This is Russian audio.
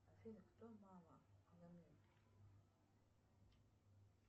афина кто мама